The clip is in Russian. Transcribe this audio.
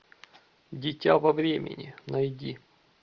дитя во времени найди